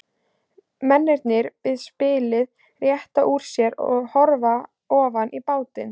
Mennirnir við spilið rétta úr sér og horfa ofan í bátinn.